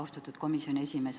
Austatud komisjoni esimees!